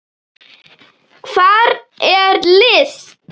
Hvað er list?